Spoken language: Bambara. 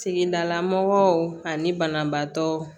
Tigidala mɔgɔw ani banabaatɔ